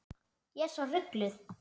Ég er svo rugluð.